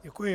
Děkuji.